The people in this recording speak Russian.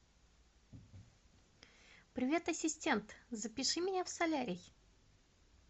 привет ассистент запиши меня в солярий